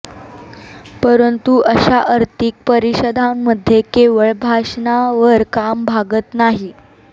परंतु अशा आर्थिक परिषदांमध्ये केवळ भाषणांवर काम भागत नाही